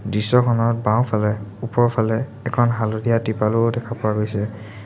দৃশ্যখনত বাওঁফালে ওপৰফালে এখন হালধীয়া তৃপালো দেখা পোৱা গৈছে।